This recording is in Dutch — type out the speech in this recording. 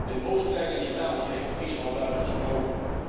In Oostenrijk en Italië heeft de kiezer al duidelijk gesproken.